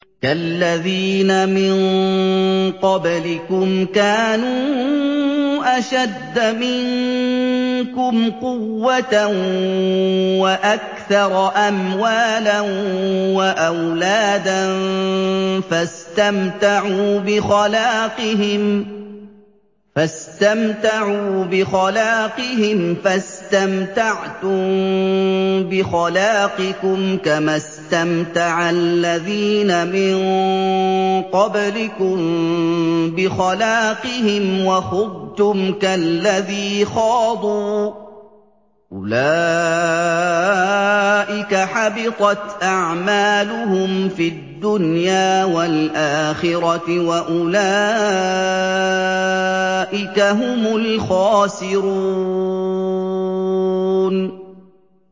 كَالَّذِينَ مِن قَبْلِكُمْ كَانُوا أَشَدَّ مِنكُمْ قُوَّةً وَأَكْثَرَ أَمْوَالًا وَأَوْلَادًا فَاسْتَمْتَعُوا بِخَلَاقِهِمْ فَاسْتَمْتَعْتُم بِخَلَاقِكُمْ كَمَا اسْتَمْتَعَ الَّذِينَ مِن قَبْلِكُم بِخَلَاقِهِمْ وَخُضْتُمْ كَالَّذِي خَاضُوا ۚ أُولَٰئِكَ حَبِطَتْ أَعْمَالُهُمْ فِي الدُّنْيَا وَالْآخِرَةِ ۖ وَأُولَٰئِكَ هُمُ الْخَاسِرُونَ